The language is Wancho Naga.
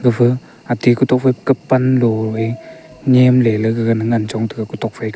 gapha ate kutok phaka panloye nyemley gagana ngan chong taiga kutok faika.